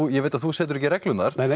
ég veit að þú setur ekki reglurnar